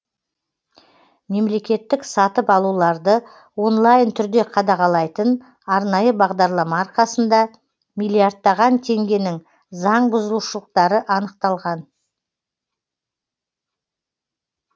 мемлекеттік сатып алуларды онлайн түрде қадағалайтын арнайы бағдарлама арқасында миллиардтаған теңгенің заңбұзушылықтары анықталған